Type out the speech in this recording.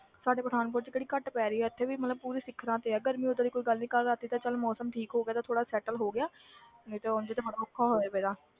ਸਾਡੇ ਪਠਾਨਕੋਟ 'ਚ ਕਿਹੜੀ ਘੱਟ ਪੈ ਰਹੀ ਹੈ ਇੱਥੇ ਵੀ ਮਤਲਬ ਪੂਰੀ ਸਿੱਖਰਾਂ ਤੇ ਹੈ ਗਰਮੀ, ਓਦਾਂ ਦੀ ਕੋਈ ਗੱਲ ਨੀ ਕੱਲ੍ਹ ਰਾਤੀ ਤੇ ਚੱਲ ਮੌਸਮ ਠੀਕ ਹੋ ਗਿਆ ਤੇ ਥੋੜ੍ਹਾ settle ਹੋ ਗਿਆ ਨਹੀਂ ਉਞ ਤੇ ਬੜਾ ਔਖਾ ਹੋਇਆ ਪਿਆ।